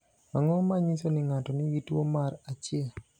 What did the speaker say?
Ang’o ma nyiso ni ng’ato nigi tuwo mar 1?